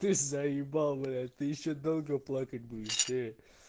ты заебал блять ты ещё долго плакать будешь ээ